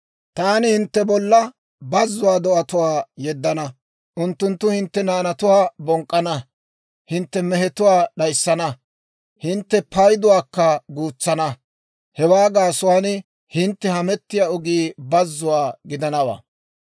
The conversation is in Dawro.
Taani hintte bolla bazzuwaa do'atuwaa yeddana; unttunttu hintte naanatuwaa bonk'k'ana; hintte mehetuwaa d'ayssana; hintte payduwaakka guutsana; hewaa gaasuwaan hintte hamettiyaa ogii bazzuwaa gidanawaa.